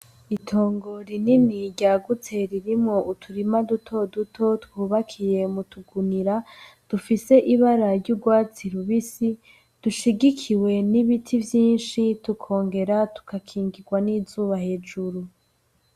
Itongo rinini ryagutse ririmwo utirima dutoduto twubakiye m'utugunira dufise ibara ry'ugwatsi rubisi dushigikiwe n'ibiti vyinshi tukongera tugakingigwa n'izuba hejuru.